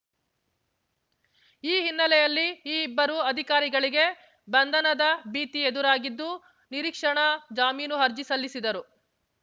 ಈ ಹಿನ್ನೆಲೆಯಲ್ಲಿ ಈ ಇಬ್ಬರು ಅಧಿಕಾರಿಗಳಿಗೆ ಬಂಧನದ ಭೀತಿ ಎದುರಾಗಿದ್ದು ನಿರೀಕ್ಷಣಾ ಜಾಮೀನು ಅರ್ಜಿ ಸಲ್ಲಿಸಿದರು